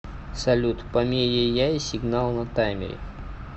салют помееяй сигнал на таймере